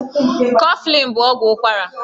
Kọflịn bụ ọgwụ ụkwara.